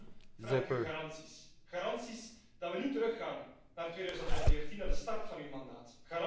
Daarom vraag ik u garanties, garanties dat we niet teruggaan naar 2014, naar de start van uw mandaat.